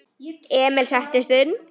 Emil settist inn.